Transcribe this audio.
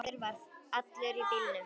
Lási bróðir var allur í bílum.